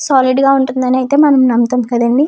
Solid గా ఉంటుందని అయితే మనం నమ్ముతున్నాం కదండీ.